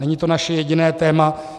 Není to naše jediné téma.